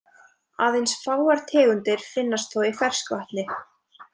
Aðeins fáar tegundir finnast þó í ferskvatni.